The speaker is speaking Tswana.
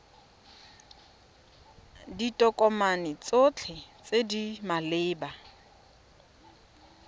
ditokomane tsotlhe tse di maleba